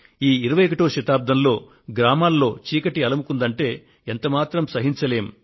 ఈ 21వ శతాబ్దంలో గ్రామాల్లో చీకటి అలుముకుంటే ఎంత మాత్రం సహించలేం